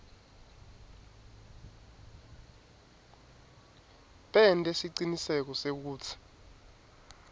bente siciniseko sekutsi